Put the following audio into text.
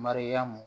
Mariyamu